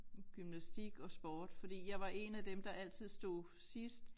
Gymnastik og sport fordi jeg var 1 af dem der altid stod sidst